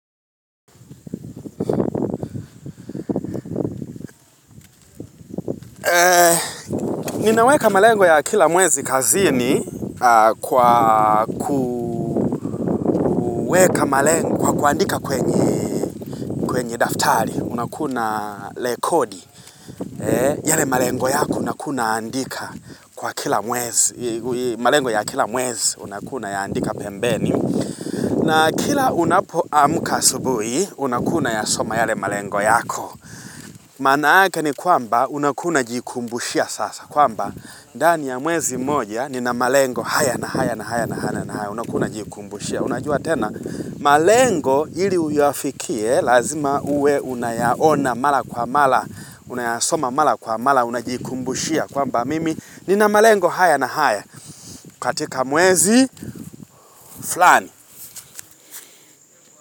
Ninaweka malengo ya kila mwezi kazini kwa kuweka malengo, kwa kuandika kwenye kwenye daftari unakuna lekodi. Yale malengo yako una kuna una andika kwa kila mwezi. Malengo ya kila mwezi unaku naya andika pembeni. Na kila unapo amka asubuhi, unakunaya soma yale malengo yako. Manaake ni kwamba unakuna jikumbushia sasa. Kwamba, ndani ya mwezi moja nina malengo haya na haya na haya na haya, unakuna jikumbushia. Unajua tena, malengo ili uyafikie, lazima uwe unayaona mala kwa mala, unayasoma mala kwa mala, unajikumbushia. Kwamba, mimi nina malengo haya na haya, katika mwezi, fulani.